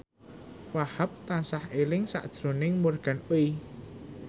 Wahhab tansah eling sakjroning Morgan Oey